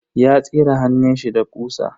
Ya tsire hannunshi da ƙusa.